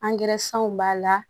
b'a la